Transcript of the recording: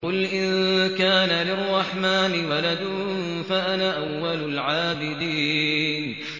قُلْ إِن كَانَ لِلرَّحْمَٰنِ وَلَدٌ فَأَنَا أَوَّلُ الْعَابِدِينَ